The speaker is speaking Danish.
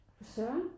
For Søren